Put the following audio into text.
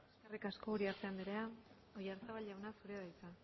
eskerrik asko uriarte anderea oyarzabal jauna zurea da hitza